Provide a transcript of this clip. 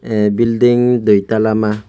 ah bilding dui tala ma.